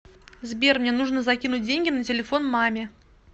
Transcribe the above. сбер мне нужно закинуть деньги на телефон маме